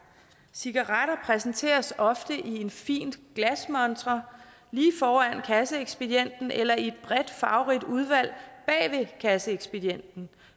cigaretter præsenteres ofte i en fin glasmontre lige foran kasseekspedienten eller i et bredt farverigt udvalg bag kasseekspedienten